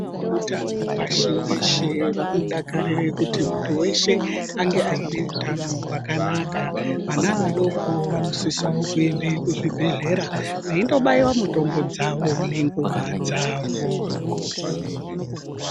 Vehutano pashi reshe vanodakarira kuti muntu weshe ange ane hutano hwakanaka vana vadoko vanosisawo kuenda kuzvibhedhlera veindobaiwa mitombo dzawo ngenguwa dzawo.